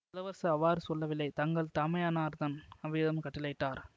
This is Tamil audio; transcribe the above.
இளவரசர் அவ்வாறு சொல்லவில்லை தங்கள் தமையனார்தன் அவ்விதம் கட்டளையிட்டார்